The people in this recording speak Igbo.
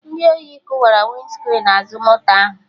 Ndị ori kụwara Winscrin azụ moto ahụ